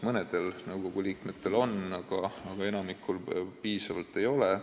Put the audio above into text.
Mõnel nõukogu liikmel see pädevus on, aga enamikul piisavalt ei ole.